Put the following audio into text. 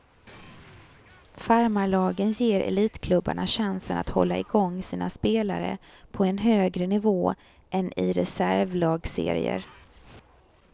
Farmarlagen ger elitklubbarna chansen att hålla igång sina spelare på en högre nivå än i reservlagsserier.